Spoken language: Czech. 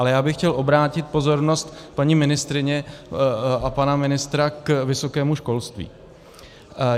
Ale já bych chtěl obrátit pozornost paní ministryně a pana ministra k vysokému školství.